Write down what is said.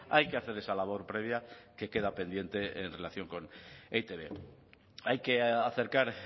hay que hacer esa labor previa que queda pendiente en relación con e i te be hay que acercar